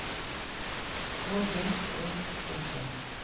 K J Ø T T